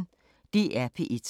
DR P1